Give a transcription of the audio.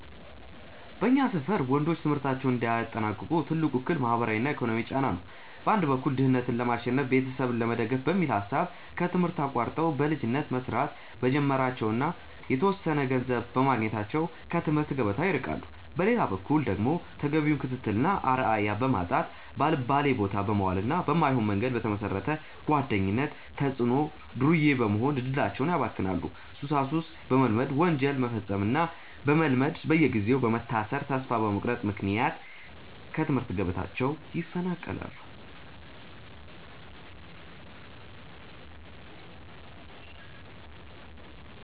በእኛ ሰፈር ወንዶች ትምህርታቸውን እንዳያጠናቅቁ ትልቁ እክል ማህበራዊና ኢኮኖሚያዊ ጫና ነው። በአንድ በኩል ድህነትን ለማሸነፍና ቤተሰብ ለመደገፍ በሚል ሐሳብ ከትምህርት አቋርጠው በልጅነት መስራት በመጀመራቸውና የተወሰነ ገንዘብ በማግኘታቸው ከትምህርት ገበታ ይርቃሉ። በሌላ በኩል ደግሞ ተገቢውን ክትትልና አርአያ በማጣት፣ ባልባሌቦታ በመዋልና በማይሆን መንገድ በተመሰረተ ጓደኝነት ተጽዕኖ ዱርዬ በመሆን እድላቸውን ያባክናሉ፤ ሱሳሱስ በመልመድና ወንጀል መፈጸምን በመልመድ በየጊዜው በመታሰርና ተስፋ በመቁረጥ ምክንያት ከትምህርት ገበታቸው ይፈናቀላሉ።